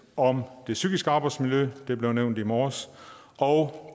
om det psykiske arbejdsmiljø det blev nævnt i morges og